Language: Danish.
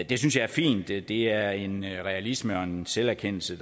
det synes jeg er fint det det er en realisme og en selverkendelse